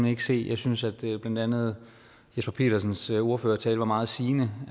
ikke se jeg synes at blandt andet jesper petersens ordførertale var meget sigende